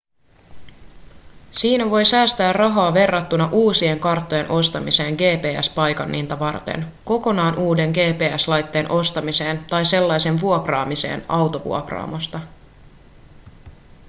siinä voi säästää rahaa verrattuna uusien karttojen ostamiseen gps-paikanninta varten kokonaan uuden gps-laitteen ostamiseen tai sellaisen vuokraamiseen autovuokraamosta